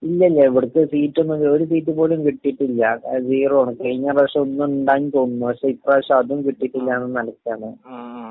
ഇവിടത്തെ സീറ്റൊന്നും...ഒരു സീറ്റുപോലും കിട്ടീട്ടില്ല. സീറോ ആണ്, കഴിഞ്ഞ പ്രാവശ്യം ഒന്നുണ്ടായിരുന്നെന്ന് തോന്നുന്നു.പക്ഷേ ഇപ്പ്രാവശ്യം അതും കിട്ടീട്ടില്ല ന്ന നിലയ്ക്കാണ്.